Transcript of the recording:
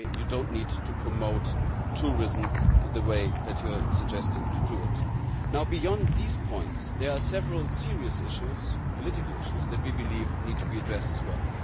they do not need to promote tourism in the way they are suggesting. Now, beyond those points, there are several serious issues, political issues, which we believe need to be addressed as well.